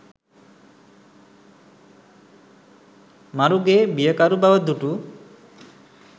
මරුගේ බියකරු බව දුටු